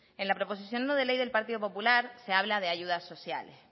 en la proposición no de ley del partido popular se habla de ayudas sociales